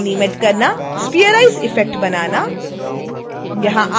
लोगो animate करना spherize effect बनाना